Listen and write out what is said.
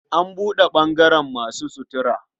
An buɗe ɓangaren masu sutura.